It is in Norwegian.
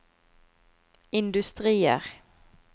industrier